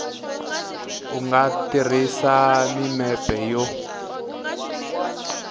u nga tirhisa mimepe yo